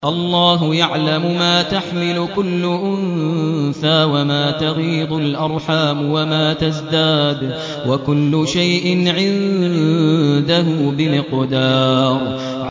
اللَّهُ يَعْلَمُ مَا تَحْمِلُ كُلُّ أُنثَىٰ وَمَا تَغِيضُ الْأَرْحَامُ وَمَا تَزْدَادُ ۖ وَكُلُّ شَيْءٍ عِندَهُ بِمِقْدَارٍ